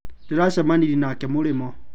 ndĩracamanirie nake mũrĩmo.